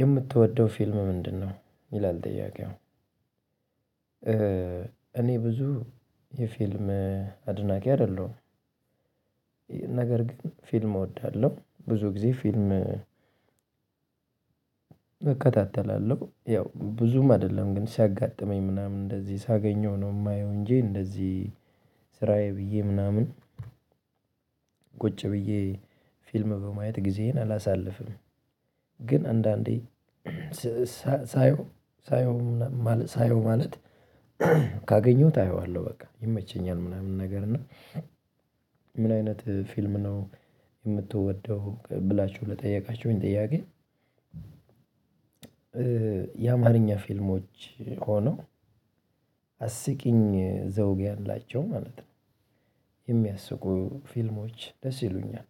የምትወደው ፊልም ምንድነው? ይላል ጥያቄው እኔ ብዙ የፊልም አድናቂ አይደለሁም። ነገር ግን ፊልም እወዳለሁ ብዙ ጊዜ ፊልም እከታተላለሁ ያው ብዙም አይደለም ግን ሲያጋጥመኝ ምናምን እንደዚህ ሳገኘው ነው የማየው እንጂ እንደዚህ ስራዬ ብዬ ምናምን ቁጭ ብዬ ፊልም በማየት ጊዜዬን አላሳልፍም። ግን አንዳንዴ ሳየው ሳየው ማለት ሳየው ማለት ካገኘሁት አየዋለሁ በቃ ይመቸኛል። ምናምን ነገር እና ምን አይነት ፊልም ነው የምትወደው ብላችሁ ለጠየቃችሁኝ ጥያቄ? የአማርኛ ፊልሞች ሆነው አስቂኝ ዘውግ ያላቸው ማለት ነው የሚያስቁ ፊልሞች ደስ ይሉኛል።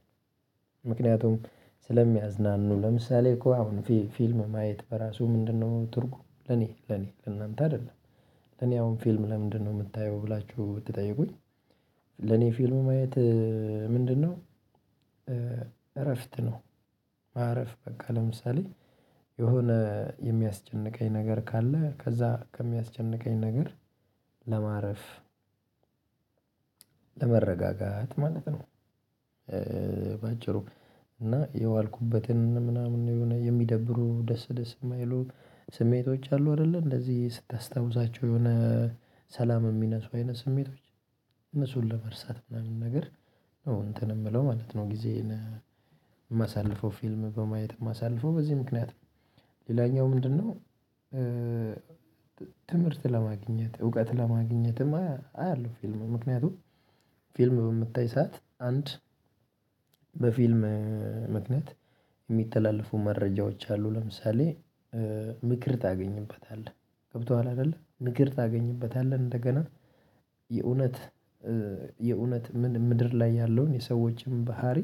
ምክንያቱም ስለሚያዝናኑ ለምሳሌ እኮ አሁን ፊልም ማየት በራሱ ምንድነው ትርጉም ለኔ ለኔ ለእናንተ አይደለም። ለኔ አሁን ፊልም ለምንድነው የምታየው ብላችሁ ብትጠይቁኝ ለኔ ፊልሙ ማየት ምንድነው እረፍት ነው። ማረፍ በቃ ለምሳሌ የሆነ የሚያስጨንቀኝ ነገር ካለ ከዛ ከሚያስጨንቀኝ ነገር ለማረፍ ለመረጋጋት ማለት ነው። በአጭሩ እና የዋልኩበትን ምናምን የሆነ የሚደብሩ ደስ ደስ የማይሉ ስሜቶች አሉ አይደለ እንደዚህ ስታስታውሳቸው የሆነ ሰላም የሚነሱ አይነት ስሜቶች እነሱን ለመርሳት ምናምን ነገር ነው እንትን የምለው ማለት ነው ጊዜ የማሳልፈው ፊልም በማየት ማሳለፈው በዚህ ምክንያት ነው። ሌላኛው ምንድነው? ትምህርት ለማግኘት እውቀት ለማግኘትም አያለሁ ፊልሙ ምክንያቱም ፊልሙ በምታይ ሰዓት አንድ በፊልም ምክንያት የሚተላለፉ መረጃዎች አሉ። ለምሳሌ ምክር ታገኝበታለህ ገብቶሃል አይደለ ምክር ታገኝበታለህ እንደገና የእውነት የእውነት ምድር ላይ ያለውን የሰዎችን ባህሪ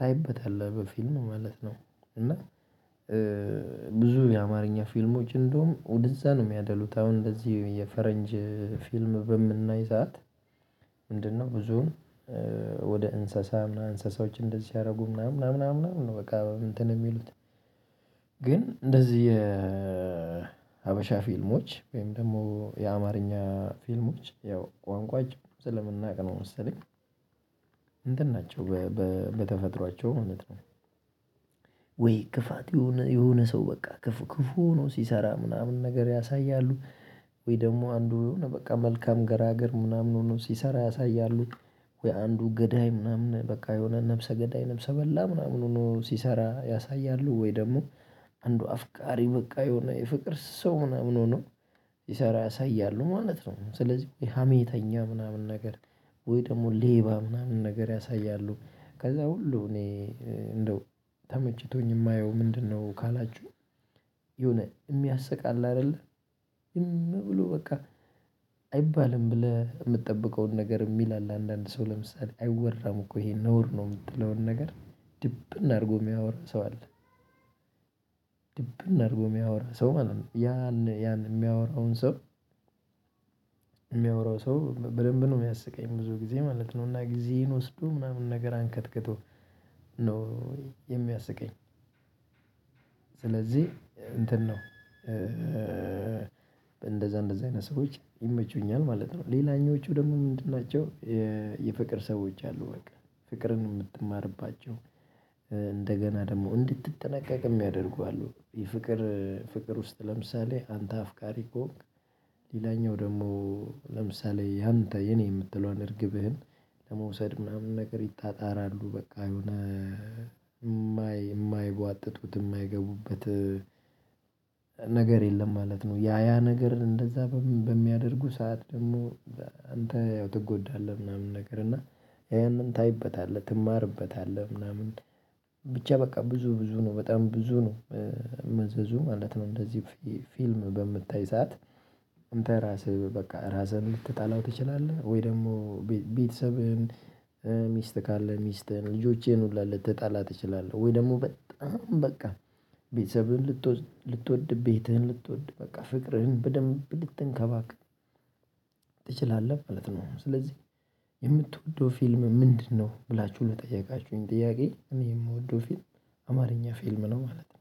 ታይበታለህ በፊልሙ ማለት ነው። እና ብዙ የአማርኛ ፊልሞች እንደውም ውድዛ ነው የሚያደሉት አሁን እንደዚህ የፈረንጅ ፊልም በምናይ ሰዓት ምንድነው ብዙውን እንስሳ ምናምን እንስሳዎችን እንደዚህ ስያያደርጉ ምናምን ምናምን ምናምን በቃ እንትን የሚሉት ግን እንደዚህ የሀበሻ ፊልሞች ወይም ደግሞ የአማርኛ ፊልሞች ያው ቋንቋችንን ስለምናውቅ ነው መሰለኝ እንትን ናቸው። በተፈጥሯቸው ማለት ነው ወይ ክፋት የሆነ የሆነ ሰው በቃ ክፉ ክፉ ሆኖ ሲሰራ ምናምን ነገር ያሳያሉ። ወይ ደግሞ አንዱ በቃ መልካም ገራገር ምናምን ሆኖ ሲሰራ ያሳያሉ። ወይ አንዱ ገዳይ ምናምን በቃ የሆነ ነፍሰ ገዳይ ነፍሰ በላ ምናምን ሆኖ ሲሰራ ያሳያሉ ወይ ደግሞ አንዱ አፍቃሪ በቃ የሆነ የፍቅር ሰው ሆና ምናምን ሆኖ ስሰራ ያሳያሉ ማለት ነው። ስለዚህ ሀሜተኛ ምናምን ነገር ወይ ደግሞ ሌባ ምናምን ነገር ያሳያሉ ከዛ ሁሉ እኔ እንደው ተመችቶኝ የማየው ምንድነው ካላችሁ የሆነ የሚያስቅ አለ አይደለ ዝም ብሎ በቃ አይባልም ብለህ የምትጠብቀውን ነገር የሚል አለ አንዳንድ ሰው ለምሳሌ አይወራም እኮ ይሄ ነውር ነው የምትለውን ነገር ድብን አድርጎ የሚያወራ ሰው አለ። ድብን አድርጎ የሚያወራ ሰው ማለት ነው ያን ያን የሚያወራውን ሰው የሚያወራው ሰው በደንብ ነው የሚያስቀኝ ብዙ ጊዜ ማለት ነው እና ጊዜዬን ወስዶ ምናምን ነገር አንከትክቶ ነው የሚያስቀኝ። ስለዚህ እንትን ነው እንደዛ እንደዛ አይነት ሰዎች ይመቹኛል ማለት ነው። ሌላኞቹ ደግሞ ምንድን ናቸው? የፍቅር ሰዎች አሉ በቃ ፍቅርን የምትማርባቸው እንደገና ደግሞ እንድትጠነቀቅ የሚያደርጉ አሉ የፍቅር ፍቅር ውስጥ ለምሳሌ አንተ አፍቃሪ ከሆንክ ሌላኛው ደግሞ ለምሳሌ ያንተ የኔ የምትለው አርግብህን ለመውሰድ ምናምን ነገር ይጣጣራሉ በቃ የሆነ የማይጓጥጡት የማይገቡበት ነገር የለም ማለት ነው። ያ ያ ነገር እንደዛ በሚያደርጉ ሰዓት ደግሞ አንተ ያው ትጎዳለህ ምናምን ነገር እና ያንን ታይበታለህ ትማርበታለህ ምናምን ብቻ በቃ ብዙ ብዙ ነው በጣም ብዙ ነው መዘዙ ማለት ነው። እንደዚህ ፊልም በምታይ ሰዓት አንተ ራስህ በቃ ራስህን ልትጣላው ትችላለህ ወይ ደግሞ ቤተሰብህን ሚስት ካለ ሚስትህን ልጆቼን ሁላ ልትጣላ ትችላለህ ወይ ደግሞ በጣም በቃ ቤተሰብህን ልትወድ ቤትህን ልትወድ በቃ ፍቅርህን በደንብ ልትንከባከብ ትችላለህ ማለት ነው። ስለዚህ የምትወደው ፊልም ምንድነው? ብላችሁ ለጠየቃችሁኝ ጥያቄ እኔ የምወደው ፊልም አማርኛ ፊልም ነው ማለት ነው